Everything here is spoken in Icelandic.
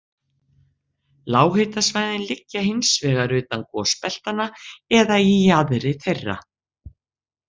Lághitasvæðin liggja hins vegar utan gosbeltanna eða í jaðri þeirra.